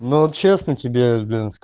ну честно тебе